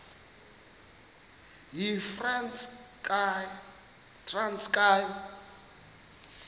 yitranskayi